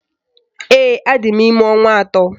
Ee, adị m ime ọnwa atọ